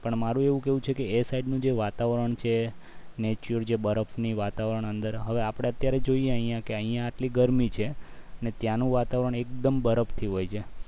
પણ મારું એવું કેવું છે કે એ side નું જે વાતાવરણ છે જે બરફની વાતાવરણ અંદર હવે આપણે અત્યારે જોઈએ અહીંયા આટલી ગરમી છે ને ત્યાંનું વાતાવરણ એકદમ બરફથી હોય છે